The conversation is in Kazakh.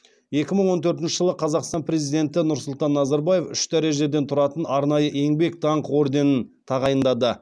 екі мың он төртінші жылы қазақстан президенті нұрсұлтан назарбаев үш дәрежеден тұратын арнайы еңбек даңқы орденін тағайындады